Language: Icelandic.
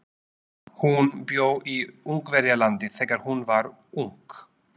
Hún bjó í Ungverjalandi þegar hún var ung.